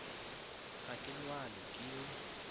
ga ke lwale ke yo